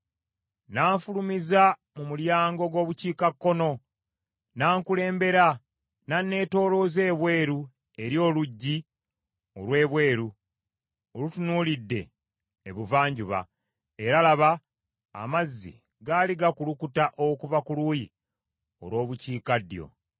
N’anfulumiza mu mulyango gw’Obukiikakkono, n’ankulembera n’anneetoolooza ebweru eri oluggi olw’ebweru olutunuulidde Ebuvanjuba, era laba amazzi gaali gakulukuta okuva ku luuyi olw’Obukiikaddyo.